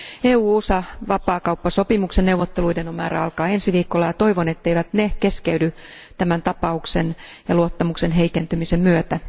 EU USA vapaakauppasopimuksen neuvotteluiden on määrä alkaa ensi viikolla, ja toivon, etteivät ne keskeydy tämän tapauksen ja luottamuksen heikentymisen myötä.